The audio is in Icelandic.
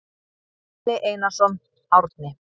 Bjarni Einarsson, Árni.